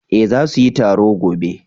eh za su yi taro gobe